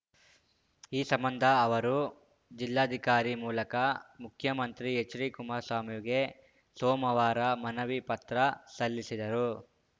ಈ ಸಂಬಂಧ ಅವರು ಜಿಲ್ಲಾಧಿಕಾರಿ ಮೂಲಕ ಮುಖ್ಯಮಂತ್ರಿ ಎಚ್‌ಡಿಕುಮಾರಸ್ವಾಮಿಗೆ ಸೋಮವಾರ ಮನವಿ ಪತ್ರ ಸಲ್ಲಿಸಿದರು